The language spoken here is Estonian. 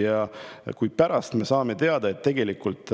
Ja kui me saame teada, et